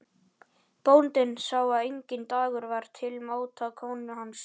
Bóndinn sá að enginn dagur var til máta konu hans.